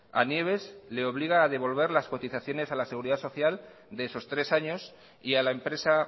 a nieves le obliga a devolver las cotizaciones a la seguridad social de esos tres años y a la empresa